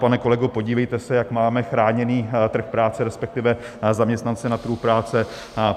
Pane kolego, podívejte se, jak máme chráněný trh práce, respektive zaměstnance na trhu práce.